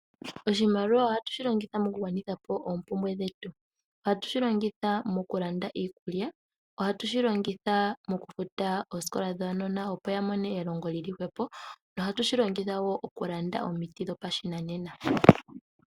Oshimaliwa ohatu shi longitha mokugwanitha po oompumbwe dhetu. Ohatu shi longitha mokulanda iikulya. Ohatu shi longitha mokufuta oosikola dhaanona opo ya mone elongo li li hwepo nohatu shi longitha wo okulanda omiti dhopashinanena.